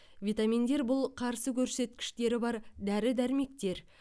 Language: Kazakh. витаминдер бұл қарсы көрсеткіштері бар дәрі дәрмектер